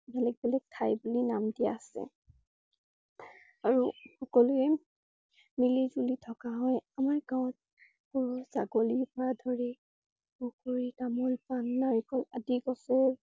বেলেগ বেলেগ ঠাই বুলি নাম দিয়া আছে । আৰু সকলোৱে মিলিজুলি থকা হয় আমাৰ গাঁৱত। গৰু, ছাগলী পৰা ধৰি পুখুৰী, তামোল, পান, নাৰিকল আদি গছৰ